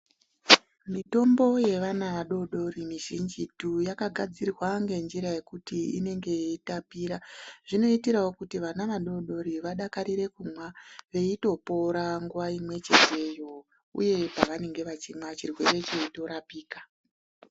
Mitombo ye vana vadodori mizhinji tu yaka gadzirwa nge njira yekuti inenge yei tapira zvinoitirawo kuti vana vadodori vadakarire kumwa veito pora nguva imwe chete yo uye pavanenge vachimwa chirwere cheito rapika.